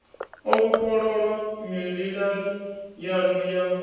o vhofholowa mililani yanu ya